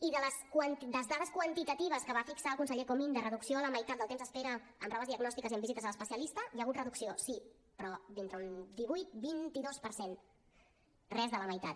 i de les dades quantitatives que va fixar el conseller comín de reducció a la meitat del temps d’espera en proves diagnòstiques i en visites a l’especialista hi ha hagut reducció sí però d’entre un divuit vint dos per cent res de la meitat